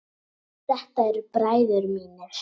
Þetta eru bræður mínir.